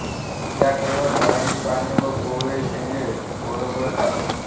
त्या केवळ झाडांची पाने व कोवळे शेंडे ओरबाडतात